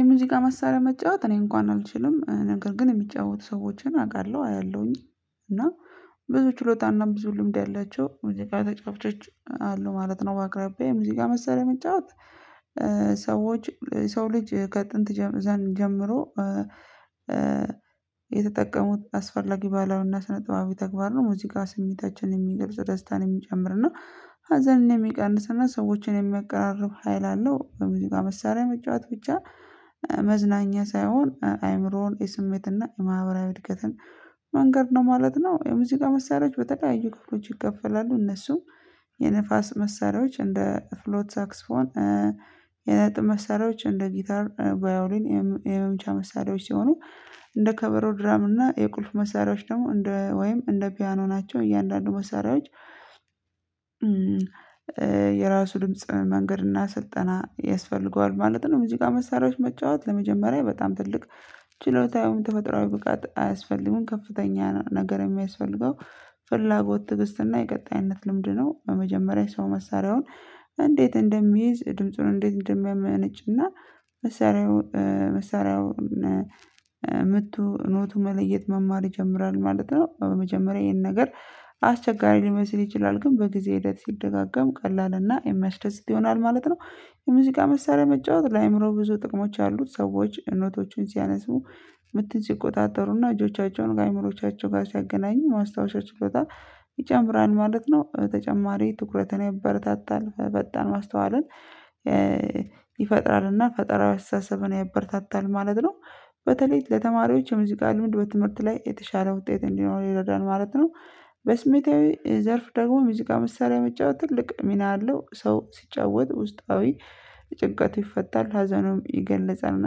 የሙዚቃ መሳሪያ መጫወት እኔ እንኳን አልችልም ነገር ግን የሚጫወቱ ሰዎችን አውቃለሁ አያለሁኝ። እና ብዙ ችሎታና ብዙ ልምድ ያላቸው ሙዚቃ ተጫዋቾች አሉ ማለት ነው። በአቅራቢየ የሙዚቃ መሳሪያ መጫወት። ሰዎች የሰው ልጅ ከጥንት ጀ ዘን ጀምሮ የተጠቀሙት አስፈላጊ ባህላዊና ስነጥባዊ ተግባር ነው። ሙዚቃ ስሜታችንን የሚገልጽ ደስታን የሚጨምር እና ሀዘንን የሚቀንስ እና ሰዎችን የሚያቀራርብ ሀይል አለው። በሙዚቃ መሳሪያ መጫወት ብቻ መዝናኛ ሳይሆን አእምሮን የስሜትና የማህበራዊ እድገትን መንገድ ነው ማለት ነው። የሙዚቃ መሳሪያዎች በተለያዩ ክፍሎች ይከፈላሉ። እነሱም የንፋስ መሳሪያዎች እንደ ፍሎት ሳክስፎን። የነጥብ መሳሪያዎች እንደ ጊታር ቫዮሊን የመመምቻ መሳሪያዎች ሲሆኑ እንደ ከበሮ ድራም እና የቁልፍ መሳሪያዎች ደግሞ እንደ ወይም እንደ ፒያኖ ናቸው። እያንዳንዱ መሳሪያዎች የራሱ ድምጽ መንገድ እና ስልጠና ያስፈልገዋል ማለት ነው። ሙዚቃ መሳሪያዎች መጫወት ለመጀመሪያ በጣም ትልቅ ችሎታ ይሁን ተፈጥሮአዊ ብቃት አያስፈልግም። ከፍተኛ ነገር የሚያስፈልገው ፍላጎት ትግስትና የቀጣይነት ልምድ ነው። በመጀመሪያ ሰው መሳሪያውን እንዴት እንደሚይዝ ድምጹን እንዴት እንደሚያመነጭና መሳሪያው መሳሪያውን ምቱ ኖቱ መለየት መማር ይጀምራል ማለት ነው። በመጀመሪያ ይሄን ነገር አስቸጋሪ ሊመስል ይችላል ግን በጊዜ ሂደት ሲደጋገም ቀላል እና የሚያስደስት ይሆናል ማለት ነው። የሙዚቃ መሳሪያ መጫወት ለአእምሮ ብዙ ጥቅሞች ያሉት ሰዎች አይነቶቹን ሲያነሱ ምት ሲቆጣጠሩና እጆቻቸውን ከአእምሮዎቻቸው ጋር ሲያገናኙ ማስታወሻ ችሎታ ይጨምራል ማለት ነው። በተጨማሪ ትኩረትን ያበረታታል በጣም ማስተዋልን ይፈጥራል እና ፈጣራዊ አስተሳሰብን ያበረታታል ማለት ነው። በተለይ ለተማሪዎች የሙዚቃ ልምድ በትምህርት ላይ የተሻለ ውጤት እንዲኖረን ይረዳል ማለት ነው። በስሜታዊ ዘርፍ ደግሞ ሙዚቃ መሳሪያ መጫወት ትልቅ ሚና አለው። ሰው ሲጫወት ውስጣዊ ጭንቀቱ ይፈታል ሀዘኑም ይገለጻልእና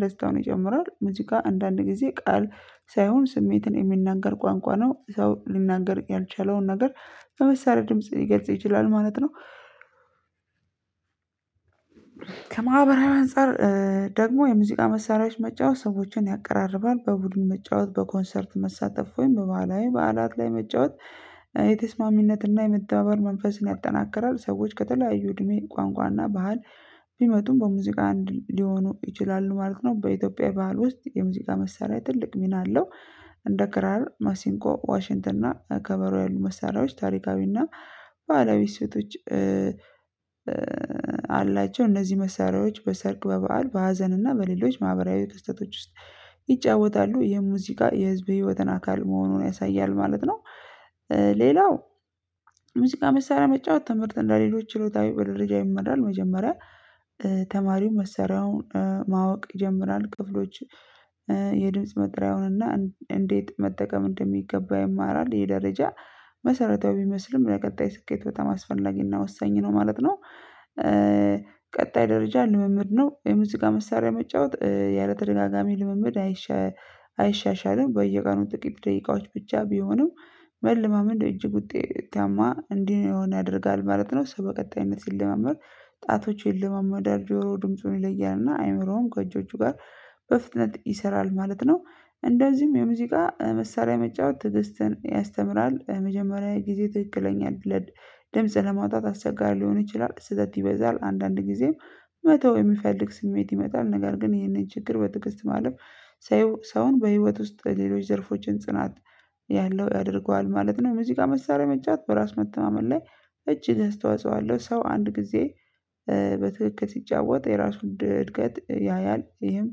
ደስታውን ይጨምራል። ሙዚቃ አንዳንድ ጊዜ ቃል ሳይሆን ስሜትን የሚናገር ቋንቋ ነው። ሰው ሊናገር ያልቻለውን ነገር በመሳሪያ ድምጽ ሊገልጽ ይችላል ማለት ነው። ከማህበራዊ አንፃር ደግሞ የሙዚቃ መሳሪያዎች መጫወት ሰዎችን ያቀራርባል። በቡድን መጫወት በኮንሰርት መሳተፍ ወይም በባህላዊ በዓላት ላይ መጫወት የተስማሚነት እና የመተባበር መንፈስን ያጠናክራል። ሰዎች ከተለያዩ እድሜ ቋንቋ እና ባህል ቢመጡም በሙዚቃ አንድ ሊሆኑ ይችላሉ ማለት ነው። በኢትዮጵያ ባህል ውስጥ የሙዚቃ መሳሪያ ትልቅ ሚና አለው። እንደ ክራር ማሲንቆ ዋሽንትርና ከበሮ ያሉ መሳሪያዎች ታሪካዊ እና ባህላዊ እሴቶች አላቸው። እነዚህ መሳሪያዎች በሰርግ በበዓል በሀዘን እና በሌሎች ማህበራዊ ክስህተቶች ውስጥ ይጫወታሉ። የሙዚቃ የህዝብ ህይወትን አካል መሆኑን ያሳያል ማለት ነው። ሌላው ሙዚቃ መሳሪያ መጫወት ትምህርት እንደሌሎች ችሎታዊ በደረጃ ይመራል። መጀመሪያ ተማሪው መሳሪውን ማወቅ ይጀምራል ክፍሎች የድምጽ መጠሪያውን እና እንዴት መጠቀም እንደሚገባ ይማራል። ይሄ ደረጃ መሰረታዊ ቢመስልም ለቀጣይ ስኬት በ አስፈላጊና ወሳኝ ነው ማለት ነው። ቀጣይ ደረጃ ልምምድ ነው የሙዚቃ መሳሪያ መጫወት ያለተደጋጋሚ ልምምድ አይሸ አይሻሻልም። በየቀኑ ጥቂት ደቂቃዎች ብቻ ቢሆንም መልማመድ እጅግ ውጤታማ እንድንሆነ ያደርጋል ማለት ነው። ሰው በቀጣይነት ሲለማመድ ጣቶች ይለማመዳል ጆሮው ድምፁን ይለያል እና አእምሮውም ከእጆቹ ጋር በፍጥነት ይሰራል ማለት ነው። እንደዚሁም የሙዚቃ መሳሪያ መጫወት ትዕግስትን ያስተምራል። የመጀመሪያ ጊዜ ትክክለኛ እድለድ ድምጽ ለማውጣት አስቸጋሪ ሊሆን ይችላል። ስህተት ይበዛል አንዳንድ ጊዜም መተው የሚፈልግ ስሜት ይመጣል። ነገር ግን ይሄንን ችግር በትግስት ማለፍ ሰው ሰውን በህይወት ውስጥ ሌሎች ዘርፎችን ጽናት ያለው ያደርገዋል ማለት ነው። ሙዚቃ መሳሪያ መጫወት በራስ መተማመን ላይ እጅግ አስተዋጽኦ አለው። ሰው አንድ ጊዜ በትክክል ሲጫወት የራሱን እድገት ያያል ይህም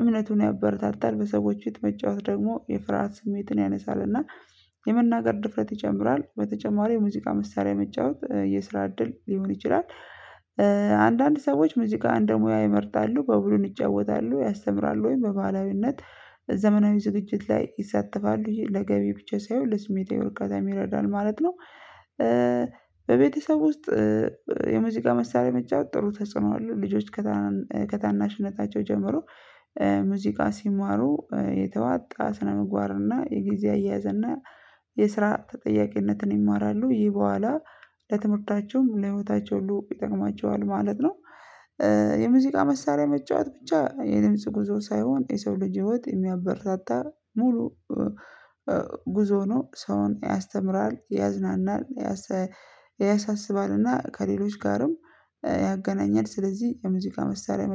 እምነቱን ያበረታታል። በሰዎች የሚጫወት ደግሞ የፍርሃት ስሜትን ያነሳል እና የመናገር ድፍረት ይጨምራል። በተጨማሪ ሙዚቃ መሳሪያ መጫወት የስራ እድል ሊሆን ይችላል። አንዳንድ ሰዎች ሙዚቃ እንደሙያ ይመርጣሉ በቡድን ይጫወታሉ ያስተምራሉ ወይም በባህላዊነት ዘመናዊ ዝግጅት ላይ ይሳተፋሉ ለገቢ ብቻ ሳይሆን ለስሜታዊ እርካታ ይረዳል ማለት ነው። በቤተሰብ ውስጥ የሙዚቃ መሳሪያ መጫወት ጥሩ ተጽዕኖ አለው። ልጆች ከታናናሽ ከታናሽነታቸው ጀምሮ ሙዚቃ ሲማሩ የተዋጣ ስነምግባር እና የጊዜ አያያዝ እና የስራ ተጠያቂነትን ይማራሉ። ይህ በኋላ ለትምህርታቸውም ለህይወታቸው ሁሉ ይጠቅማቸዋል ማለት ነው። የሙዚቃ መሳሪያ መጫወት ብቻ የድምጽ ጉዞ ሳይሆን የሰው ልጅ ህይወት የሚያበረታታ ሙሉ ጉዞ ነው። ሰውን ያስተምራል ያዝናናል ያሳ ያሳስባልና ከሌሎች ጋርም ያገናኛል። ስለዚህ የሙዚቃ መሳሪያ መጫ